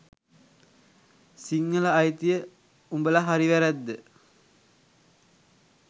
සිංහල අයිතිය – උඹල හරි වැරැද්ද